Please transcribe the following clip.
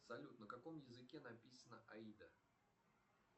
салют на каком языке написана аида